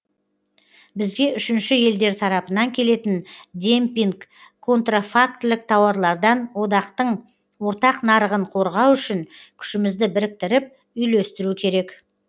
бізге үшінші елдер тарапынан келетін демпинг контрафактілік тауарлардан одақтың ортақ нарығын қорғау үшін күшімізді біріктіріп үйлестіру керек